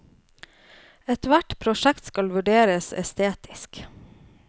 Et hvert prosjekt skal vurderes estetisk.